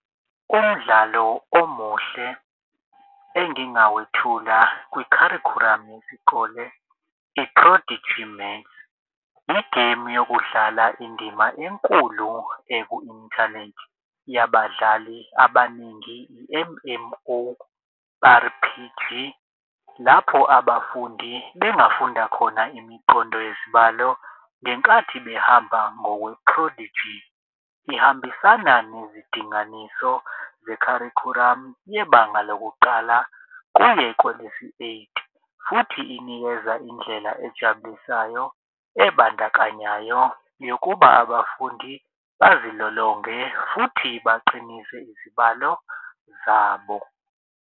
Umdlalo omuhle engingawethula kwikharikhuramu yesikole igemu yokudlala indima enkulu eku-inthanethi. Yabadlali abaningi i-M_M_O_R_P_G lapho abafundi bengafunda khona imiqondo yezibalo ngenkathi behamba ngokwephrodiji. Ihambisana nezindinganiso zekharukhuramu yebanga lokuqala kuye kwelesi-eight futhi inikeza indlela ejabulisayo ebandakanyayo yokuba abafundi bazilolonge futhi baqinise izibalo zabo.